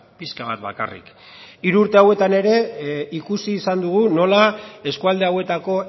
pixka bat bakarrik hiru urte hauetan ere ikusi izan dugu nola eskualde hauetako